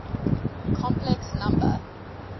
complex number